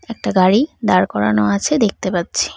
একটা গাড়ি দাঁড় করানো আছে দেখতে পাচ্ছি।